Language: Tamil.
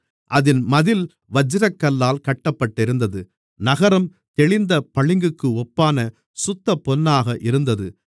அதின் மதில் வச்சிரக்கல்லால் கட்டப்பட்டிருந்தது நகரம் தெளிந்த பளிங்குக்கு ஒப்பான சுத்தப்பொன்னாக இருந்தது